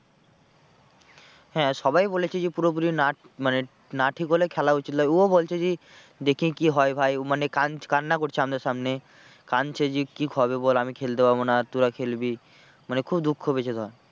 হ্যাঁ সবাই বলেছে যে পুরোপুরি না মানে না ঠিক হলে খেলা উচিত নয় ও বলছে যে দেখি কি হয় ভাই মানে কান কান্না করছে আমাদের সামনে কাঁদছে যে কি হবে বল আমি খেলতে পারবো না আর তোরা খেলবি মানে খুব দুঃখ পেয়েছে ধর।